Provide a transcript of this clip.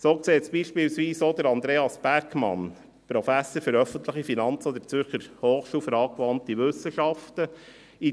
So sieht es beispielsweise auch Andreas Bergmann, Professor für öffentliche Finanzen an der Zürcher Hochschule für angewandte Wissenschaften (ZHAW).